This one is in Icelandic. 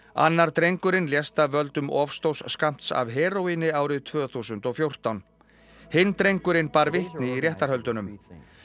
annar drengurinn lést af völdum of stórs skammts af heróíni árið tvö þúsund og fjórtán hinn drengurinn bar vitni í réttarhöldunum